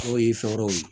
Aw ye fɛn wɛrɛw ye